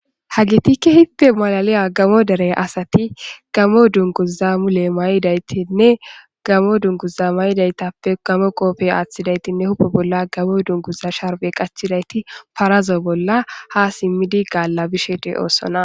Hayissati kehipe loyizayasati gammo dunguza mayidine gammo qobe wothidi ba qodheni dunguza qachidi paraza bolla ha galabishe dossona